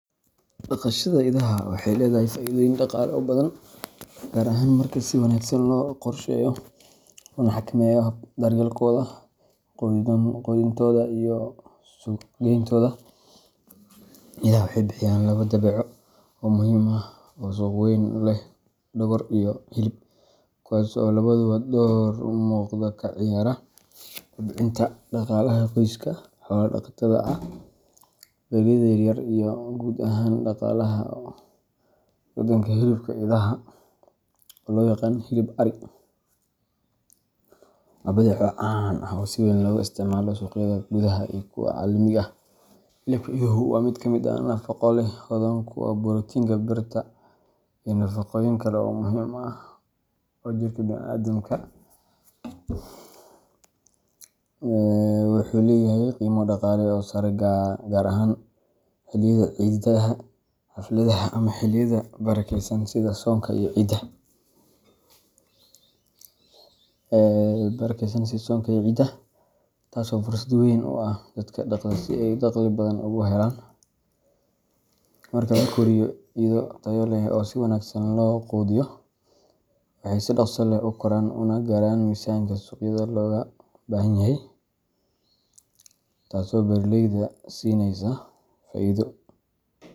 Dhaqashada idaha waxay leedahay faa’iidooyin dhaqaale oo badan, gaar ahaan marka si wanaagsan loo qorsheeyo loona xakameeyo habka daryeelkooda, quudintooda iyo suuqgayntooda. Idaha waxay bixiyaan labo badeeco oo muhiim ah oo suuq weyn leh dhogor iyo hilib – kuwaas oo labaduba door muuqda ka ciyaara kobcinta dhaqaalaha qoysaska xoolo-dhaqatada ah, beeraleyda yar yar, iyo guud ahaan dhaqaalaha waddanka. Hilibka idaha, oo loo yaqaan “hilib arri”, waa badeeco caan ah oo si weyn looga isticmaalo suuqyada gudaha iyo kuwa caalamiga ah. Hilibka iduhu waa mid nafaqo leh, hodan ku ah borotiinka, birta, iyo nafaqooyin kale oo muhiim u ah jirka bini’aadamka. Waxa uu leeyahay qiimo dhaqaale oo sare, gaar ahaan xilliyada ciidaha, xafladaha, ama xilliyada barakeysan sida soonka iyo ciida, taas oo fursad weyn u ah dadka dhaqda si ay dakhli badan uga helaan. Marka la koriyo ido tayo leh oo si wanaagsan loo quudiyo, waxay si dhakhso leh u koraan una gaaraan miisaanka suuqyada looga baahanyahay, taasoo beeraleyda siineysa faa’iido.